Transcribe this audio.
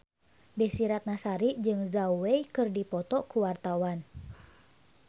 Desy Ratnasari jeung Zhao Wei keur dipoto ku wartawan